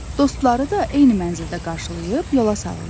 Dostları da eyni mənzildə qarşılayıb yola salırlar.